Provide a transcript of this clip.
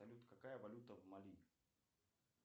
салют какая валюта в мали